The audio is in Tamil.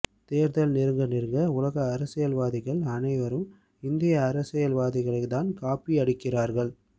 தேர்தல் நெருங்க நெருங்க உலக அரசியல்வாதிகள் அனைவரும் இந்திய அரசியல்வாதிகளை தான் காப்பி அடிக்கிறார்கள்